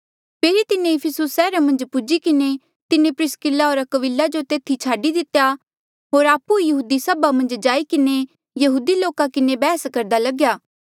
फेरी तिन्हें इफिसुस सैहरा मन्झ पुज्ही किन्हें तिन्हें प्रिसकिल्ला होर अक्विला जो तेथी छाडी दितेया होर आपु ई यहूदी सभा मन्झ जाई किन्हें यहूदी लोका किन्हें बैहस करदा लग्या